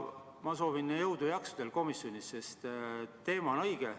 Ma soovin jõudu ja jaksu komisjonile, sest teema on õige.